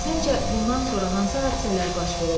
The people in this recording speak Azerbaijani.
Səncə, bundan sonra hansı hadisələr baş verəcək?